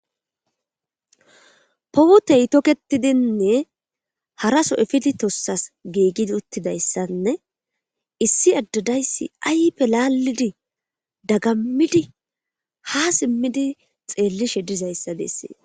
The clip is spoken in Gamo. Puteyi toketidine haraso epidi tosasi gigidi utidayisanne issi ade dayisi ayife lalidi dagamidi ha simidi xeliishshe dizayisa besseesi